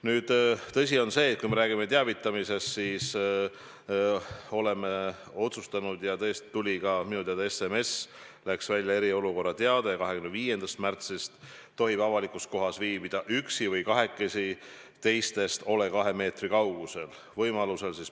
Nüüd, tõsi on see, et kui me räägime teavitamisest, siis minu teada tõesti läks välja ka SMS eriolukorra teatega: "25. märtsist tohib avalikus kohas viibida üksi või kahekesi, teistest ole 2 meetri kaugusel.